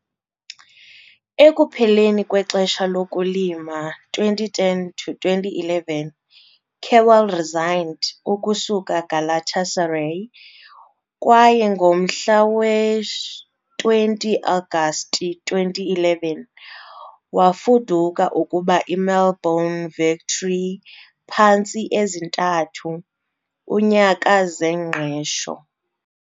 Ekupheleni kwexesha lokulima 2010-2011, Kewell resigned ukusuka Galatasaray, kwaye ngomhla we-20 Agasti 2011, wafuduka ukuba i-Melbourne Victory, phantsi ezintathu --- -unyaka zengqesho.